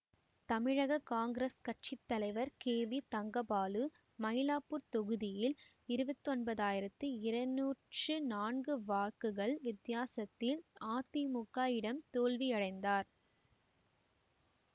தமிழக காங்கிரஸ் கட்சி தலைவர் கே வி தங்கபாலு மயிலாப்பூர் தொகுதியில் இருபத்தி ஒன்பதயிரத்தி இருநூற்றி நான்கு வாக்குகள் வித்தியாசத்தில் அதிமுக இடம் தோல்வியடைந்தார்